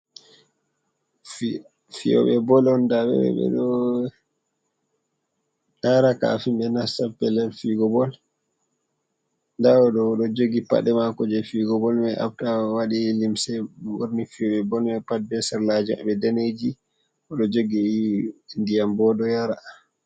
Fiyooɓe bol on nda ɓe ɓe ɗo taara kɗafin ɓe nasta pellel fiigo bol ndaa o ɗo, o ɗo jogi paɗe maako jey fiigo bol may afta o waɗi limse borni fiyooɓe bol pat bee sarlaaji ɓe daneeji o ɗo jogi ndiyam bo ɗo yara.